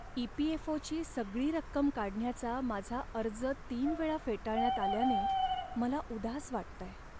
ई.पी.एफ.ओ.ची सगळी रक्कम काढण्याचा माझा अर्ज तीन वेळा फेटाळण्यात आल्याने मला उदास वाटतंय.